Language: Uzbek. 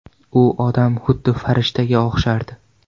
U odam xuddi farishtaga o‘xshardi.